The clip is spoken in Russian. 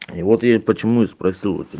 и вот я почему и спросил